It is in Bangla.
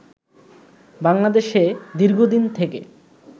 বাংলাদেশে দীর্ঘদিন থেকে